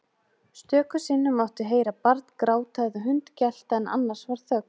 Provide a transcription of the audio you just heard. Stöku sinnum mátti heyra barn gráta eða hund gelta en annars var þögn.